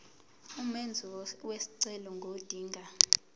umenzi wesicelo ngodinga